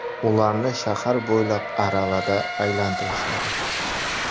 Ularni shahar bo‘ylab aravada aylantirishadi.